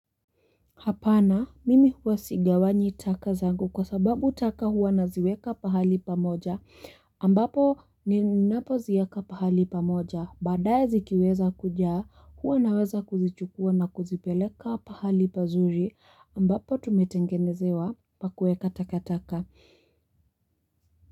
Hapana mimi huwa sigawanyi taka zangu kwa sababu taka huwa naziweka pahali pamoja ambapo ninapozieka pahali pamoja baadaye zikiweza kujaa huwa naweza kuzichukua na kuzipeleka pahali pazuri ambapo tumetengenezewa pa kueka taka taka.